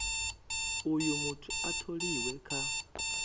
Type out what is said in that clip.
uh muthu a tholiwe kha